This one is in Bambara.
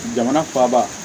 Jamana faaba